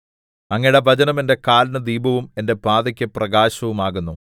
അങ്ങയുടെ വചനം എന്റെ കാലിന് ദീപവും എന്റെ പാതയ്ക്കു പ്രകാശവും ആകുന്നു